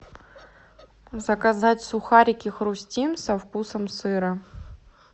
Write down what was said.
заказать сухарики хрустим со вкусом сыра